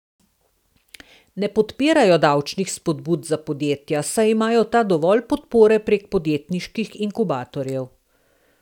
Ne podpirajo davčnih spodbud za podjetja, saj imajo ta dovolj podpore prek podjetniških inkubatorjev.